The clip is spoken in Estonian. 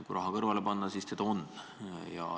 Kui raha kõrvale panna, siis seda on.